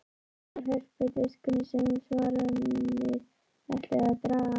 Það var hörpudiskurinn sem svanirnir ætluðu að draga.